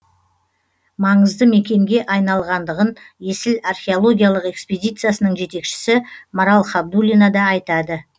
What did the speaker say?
маңызды мекенге айналғандығын есіл археологиялық эскпедициясының жетекшісі марал хабдулина да айтады